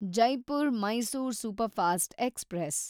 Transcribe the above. Jaipur Mysore superfast express